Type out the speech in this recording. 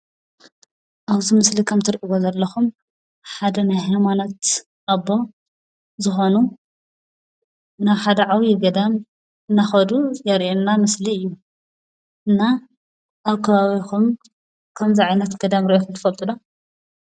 ኣብዚ ምስሊ ከም እትሪእዎ ዘለኹም ሓደ ናይ ሃይማኖት ኣቦ ዝኾኑ ናብ ሓደ ዓብዪ ገዳም እናኸዱ ዘርእየና ምስሊ እዩ። እና ኣብ ከባቢኹም ከምዚ ዓይነት ገዳም ሪእኹም ትፈልጡ ዶ?